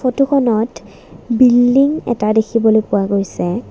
ফটোখনত বিল্ডিং এটা দেখিবলৈ পোৱা গৈছে।